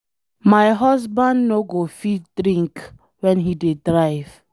My husband no go fit drink wen he dey drive